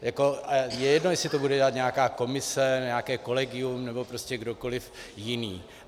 Je jedno, jestli to bude dělat nějaká komise, nějaké kolegium nebo prostě kdokoliv jiný.